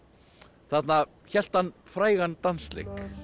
þarna hélt hann frægan dansleik